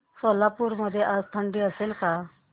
सोलापूर मध्ये आज थंडी असेल का